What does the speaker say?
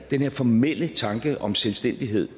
den her formelle tanke om selvstændighed